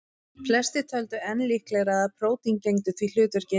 Flestir töldu enn líklegra að prótín gegndu því hlutverki.